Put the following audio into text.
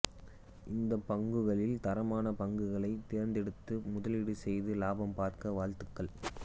இந்த பங்குகளில் தரமான பங்குகளை தேர்ந்தெடுத்து முதலீடு செய்து லாபம் பார்க்க வாழ்த்துக்கள்